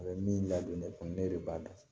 A bɛ min ladon ne kun ne de b'a dɔn